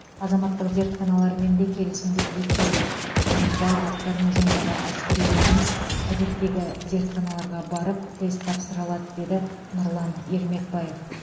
азаматтық зертханалармен де келісімдер бекітілген яғни барлық гарнизондағы әскерилеріміз әдеттегі зертханаларға барып тест тапсыра алады деді нұрлан ермекбаев